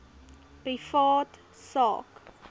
privaat sak